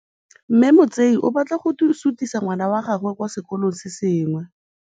Mme Motsei o batla go sutisa ngwana wa gagwe kwa sekolong se sengwe.